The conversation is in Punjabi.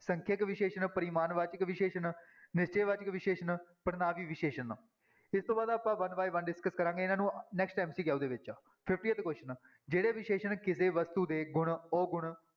ਸੰਖਿਅਕ ਵਿਸ਼ੇਸ਼ਣ, ਪਰਿਮਾਨ ਵਾਚਕ ਵਿਸ਼ੇਸ਼ਣ, ਨਿਸ਼ਚੈ ਵਾਚਕ ਵਿਸ਼ੇਸ਼ਣ, ਪੜ੍ਹਨਾਂਵੀ ਵਿਸ਼ੇਸ਼ਣ ਇਸ ਤੋਂ ਬਾਅਦ ਆਪਾਂ one by one discuss ਕਰਾਂਗੇ ਇਹਨਾਂ ਨੂੰ next MCQ ਦੇ ਵਿੱਚ fiftieth question ਜਿਹੜੇ ਵਿਸ਼ੇਸ਼ਣ ਕਿਸੇ ਵਸਤੂ ਦੇ ਗੁਣ, ਔਗੁਣ